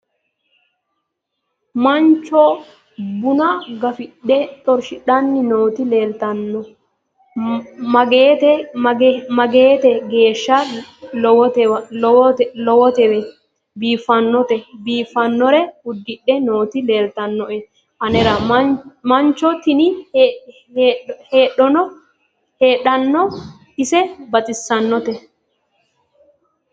mancho buna gafidhe xorshshidhann nooti leeltanno maagete geeshsa lowotewe biiffannote biifannore uddidhe nooti leeltannoe anera mancho tini heedhona ise baxisanotena